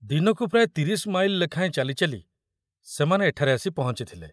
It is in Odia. ଦିନକୁ ପ୍ରାୟ ତିରିଶ ମାଇଲ ଲେଖାଏଁ ଚାଲି ଚାଲି ସେମାନେ ଏଠାରେ ଆସି ପହଞ୍ଚିଥିଲେ।